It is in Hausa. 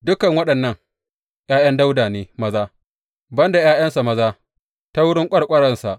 Dukan waɗannan ’ya’yan Dawuda ne maza, ban da ’ya’yansa maza ta wurin ƙwarƙwaransa.